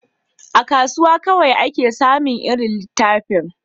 A kasuwa kawai ake samin irin littafin